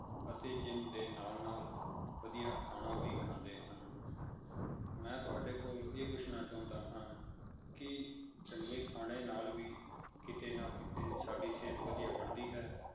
ਅਤੇ ਜਿੰਮ ਦੇ ਨਾਲ ਨਾਲ ਵਧੀਆ ਖਾਣਾ ਵੀ ਖਾਂਦੇ ਹਨ ਮੈਂ ਤੁਹਾਡੇ ਕੋਲ ਇਹ ਪੁੱਛਣਾ ਚਾਹੁੰਦਾ ਹਾਂ ਕਿ ਚੰਗੇ ਖਾਣੇ ਨਾਲ ਵੀ ਕਿਤੇ ਨਾ ਕਿਤੇ ਸਾਡੀ ਸਿਹਤ ਵਧੀਆ ਬਣਦੀ ਹੈ